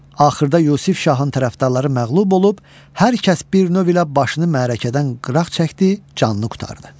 Axırda Yusif şahın tərəfdarları məğlub olub hər kəs bir növ ilə başını məarəkədən qıraq çəkdi, canını qurtardı.